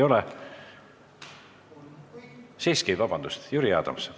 Jüri Adams, palun!